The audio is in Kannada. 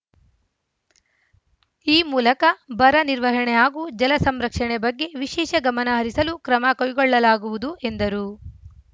ಈ ಮೂಲಕ ಬರ ನಿರ್ವಹಣೆ ಹಾಗೂ ಜಲಸಂರಕ್ಷಣೆ ಬಗ್ಗೆ ವಿಶೇಷ ಗಮನ ಹರಿಸಲು ಕ್ರಮ ಕೈಗೊಳ್ಳಲಾಗುವುದು ಎಂದರು